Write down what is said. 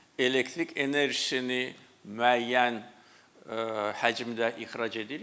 Elektrik enerjisini müəyyən həcmdə ixrac edirik.